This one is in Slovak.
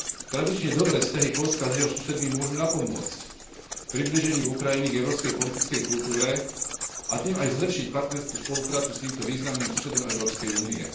Tradične dobré vzťahy Poľska s jeho susedmi môžu napomôcť priblíženiu Ukrajiny k európskej politickej kultúre, a tým aj zlepšiť partnerskú spoluprácu s týmto významným susedom Európskej únie.